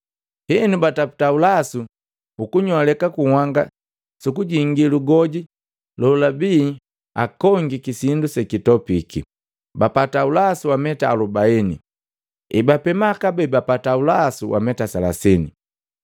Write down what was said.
Henu bataputa ulasu ukunyoleka kunhanga suku jingi lugoji lolabi akongiki sindu sekitopiki, bapata ulasu wa meta alubaini. Hebapema kabee bapata ulasu wa meta selasini.